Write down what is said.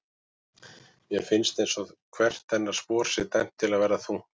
Mér finnst einsog hvert hennar spor sé dæmt til að verða þungt.